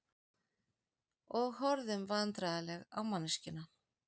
Og horfðum vandræðaleg á manneskjuna.